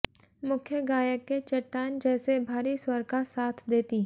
मुख्य गायक के चट्टान जैसे भारी स्वर का साथ देती